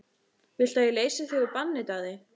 Viltu að ég leysi þig úr banni, Daði?